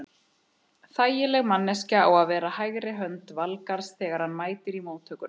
Þægileg manneskja á að vera hægri hönd Valgarðs þegar hann mætir í móttökuna.